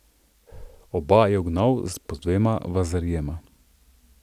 Oba je ugnal s po dvema vazarijema.